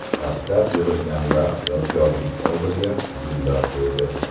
Dastlab yig‘ilganlar yodgorlik oldiga gullar qo‘ydi.